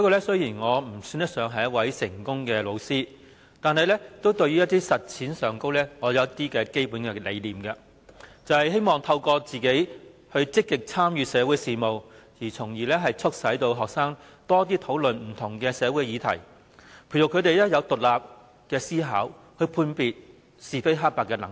雖然我算不上一位成功的教師，但實踐上也有一些基本理念，就是希望透過自己積極參與社會事務，從而促使學生多討論不同的社會議題，培育他們有獨立思考、判別是非黑白的能力。